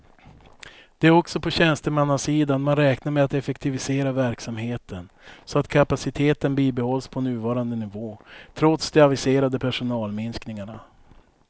Det är också på tjänstemannasidan man räknar med att effektivisera verksamheten så att kapaciteten bibehålls på nuvarande nivå trots de aviserade personalminskningarna.